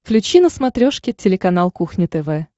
включи на смотрешке телеканал кухня тв